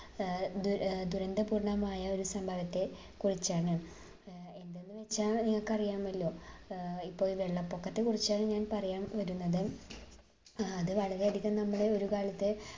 ഏർ ദു ഏർ ദുരന്തപൂർണ്ണമായ ഒരു സംഭവത്തെ കുറിച്ചാണ് ഏർ എന്തെന്ന് വെച്ചാൽ നിങ്ങൾക്ക് അറിയാമല്ലോ ഏർ ഇപ്പൊ വെള്ളപ്പൊക്കത്തെ കുറിച്ചാണ് ഞാൻ പറയാൻ വരുന്നത് ഏർ അത് വളരെയധികം നമ്മളെ ഒരു കാലത്ത്